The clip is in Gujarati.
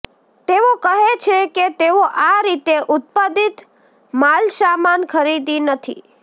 તેઓ કહે છે કે તેઓ આ રીતે ઉત્પાદિત માલસામાન ખરીદી નથી